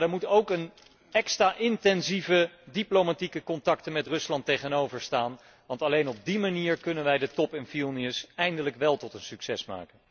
Maar daar moeten ook extra intensieve, diplomatieke contacten met Rusland tegenover staan, want alleen op die manier kunnen wij de top in Vilnius eindelijk wel tot een succes maken.